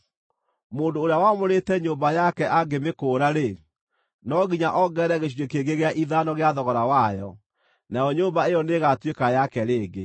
Mũndũ ũrĩa wamũrĩte nyũmba yake angĩmĩkũũra-rĩ, no nginya ongerere gĩcunjĩ kĩngĩ gĩa ithano gĩa thogora wayo, nayo nyũmba ĩyo nĩĩgatuĩka yake rĩngĩ.